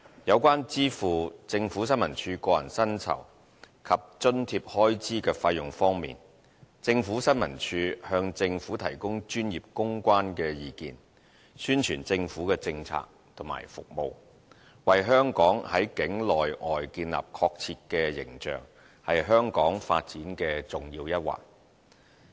有關支付政府新聞處個人薪酬及津貼開支的費用方面，政府新聞處向政府提供專業公關的意見，宣傳政府的政策和服務，為香港在境內外建立確切的形象，是香港發展的重要一環。